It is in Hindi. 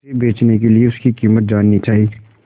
उसे बचने के लिए उसकी कीमत जाननी चाही